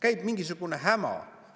Käib mingisugune häma!